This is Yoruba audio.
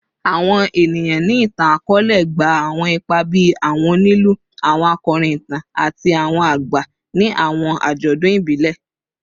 Awọn eniyan ni itan-akọọlẹ gba awọn ipa bii awọn onilu, awọn akọrin itan, ati awọn agba ni awọn ajọdun ibile